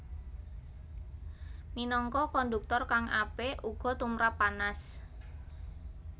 Minangka konduktor kang apik uga tumrap panas